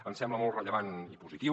ens sembla molt rellevant i positiu